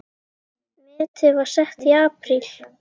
Metið var sett í apríl.